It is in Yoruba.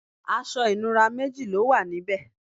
aṣọ ìnura méji lówà níbe